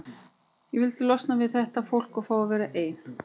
Ég vildi losna við þetta fólk og fá að vera ein.